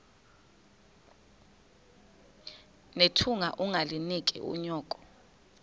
nethunga ungalinik unyoko